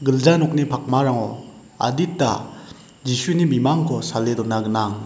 gilja nokni pakmarango adita Jisuni bimangko sale dona gnang.